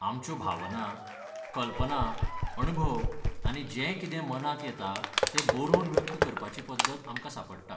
आमच्यो भावना, कल्पना, अणभव आनी जें कितें मनांत येता तें बरोवन व्यक्त करपाची पद्दत आमकां सांपडटा.